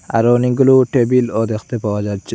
আরো অনেকগুলো টেবিলও দেখতে পাওয়া যাচ্চে।